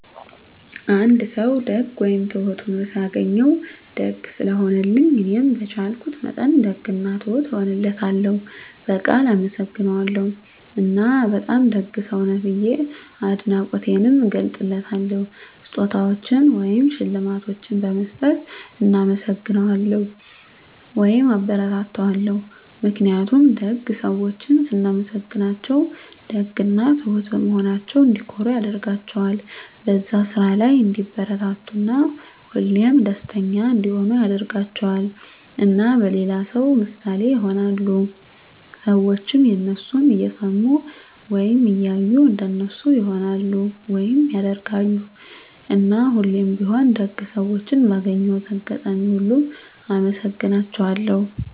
አንድ ሰዉ ደግ ወይም ትሁት ሁኖ ሳገኘዉ፤ ደግ ስለሆነልኝ እኔም በቻልኩት መጠን ደግ እና ትሁት እሆንለታለሁ፣ በቃል አመሰግነዋለሁ እና በጣም ደግ ሰዉ ነህ ብዬ አድናቆቴንም እገልፅለታለሁ። ስጦታዎችን ወይም ሽልማቶችን በመስጠት እናመሰግነዋለሁ (አበረታታዋለሁ) ። ምክንያቱም ደግ ሰዎችን ስናመሰግናቸዉ ደግ እና ትሁት በመሆናቸዉ እንዲኮሩ ያደርጋቸዋል፣ በዛ ስራ ላይ እንዲበረታቱ እና ሁሌም ደስተኛ እንዲሆኑ ያደርጋቸዋል። እና ለሌላ ሰዉ ምሳሌ ይሆናሉ። ሰዎችም የነሱን እየሰሙ ወይም እያዩ እንደነሱ ይሆናሉ (ያደርጋሉ)። እና ሁሌም ቢሆን ደግ ሰዎችን ባገኘሁት አጋጣሚ ሁሉ አመሰግናቸዋለሁ።